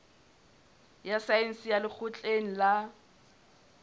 ya saense ya lekgotleng la